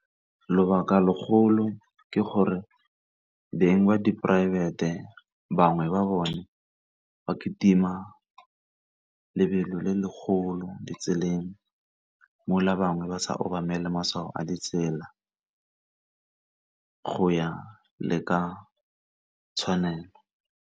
Lebaka legolo ke gore beng ba diporaefete bangwe ba bone ba kitima lebelo le legolo ditseleng, bangwe ba sa obamele matshwao a ditsela go ya le ka tshwanelo.